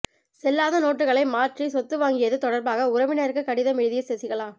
செல்லாத நோட்டுகளை மாற்றி சொத்து வாங்கியது தொடர்பாக உறவினருக்கு கடிதம் எழுதிய சசிகலா